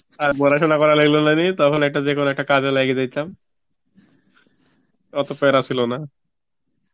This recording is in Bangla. আর পড়াশুনা করার করা লাগলো না নি তখন একটা যেকোনো একটা কাজে লাইগা যেতাম, অত প্যারা ছিল না